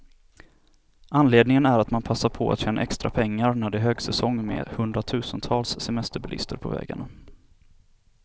Anledningen är att man passar på att tjäna extra pengar, när det är högsäsong med hundratusentals semesterbilister på vägarna.